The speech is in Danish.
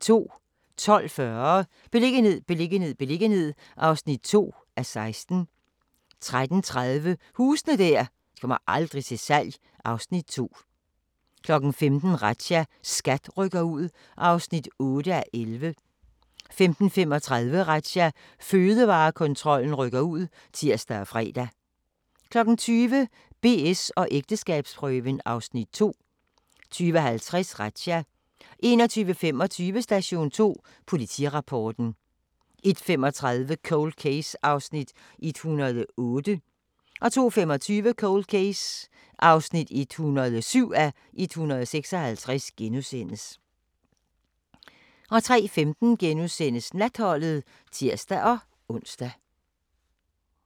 12:40: Beliggenhed, beliggenhed, beliggenhed (2:16) 13:30: Huse der aldrig kommer til salg (Afs. 2) 15:00: Razzia - SKAT rykker ud (8:11) 15:35: Razzia – Fødevarekontrollen rykker ud (tir og fre) 20:00: BS & ægteskabsprøven (Afs. 2) 20:50: Razzia 21:25: Station 2 Politirapporten 01:35: Cold Case (108:156) 02:25: Cold Case (107:156)* 03:15: Natholdet *(tir-ons)